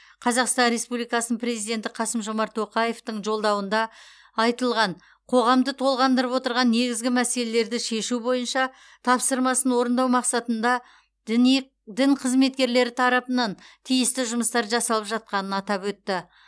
қазақстан республикасының президенті қасым жомарт тоқаевтың жолдауында айтылған қоғамды толғандырып отырған негізгі мәселелерді шешу бойынша тапсырмасын орындау мақсатында діни дін қызметкерлері тарапынан тиісті жұмыстар жасалып жатқанын атап өтті